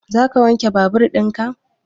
Za ka wanke babur in ka?